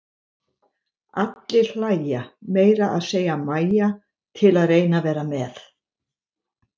Allir hlæja, meira að segja Mæja, til að reyna að vera með.